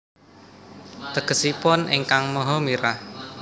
Tegesipun Ingkang Maha Mirah